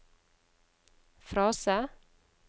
frase